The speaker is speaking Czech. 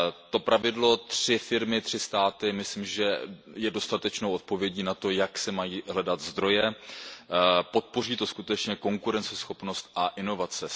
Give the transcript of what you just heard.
To pravidlo tři firmy, tři státy, myslím, že je dostatečnou odpovědí na to, jak se mají hledat zdroje, podpoří to skutečně konkurenceschopnost a inovace.